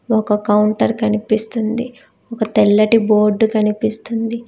ఒక కౌంటర్ కనిపిస్తుంది ఒక తెల్లటి బోర్డ్ కనిపిస్తుంది.